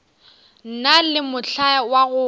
na le mohla wa go